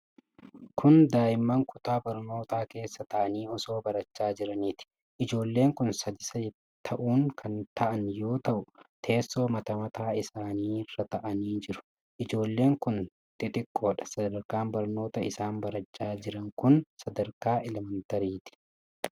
Kun daa'imman kutaa barnootaa keessa taa'anii osoo barachaa jiraniiti. Ijoolleen kun sadi sadi ta'uun kan taa'an yoo ta'u, teessoo mata mataa isaanirra taa'anii jiru. Ijoolleen kun xixiqqoodha. Sadarkaan barnoota isaan barachaa jiran kun sadarkaa elemantariiti.